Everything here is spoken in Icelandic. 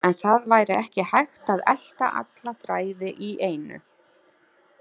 En það væri ekki hægt að elta alla þræði í einu.